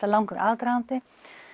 er langur aðdragandi